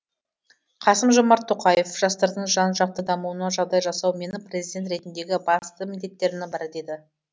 қасым жомарт тоқаев жастардың жан жақты дамуына жағдай жасау менің президент ретіндегі басты міндеттерімнің бірі деді